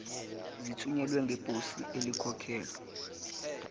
zithunyelwe ngeposi elikhokhelwe